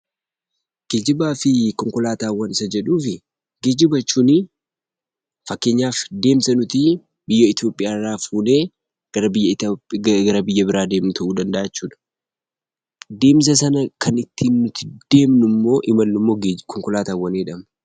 Geejjibaa fi konkolaataawwan isa jedhuuf, Geejjiba jechuun fakkeenyaaf deemsa nuti biyya Itiyoophiyaa irraa fuudhee gara biyya biraa deemnu ta'uu danda'a jechuu dha. Deemsa sana kan nuyi ittiin deemnu immoo konkolaataawwan jedhama.